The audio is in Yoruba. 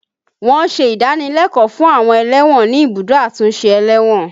Wọn ń ṣe ìdánilẹ́kọ̀ọ́ fún àwọn ẹlẹ́wọ̀n ní ibùdó àtúnṣe ẹlẹ́wọ̀n